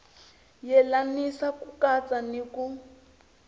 yelanisa ku katsa ni ku